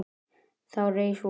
Þá reis von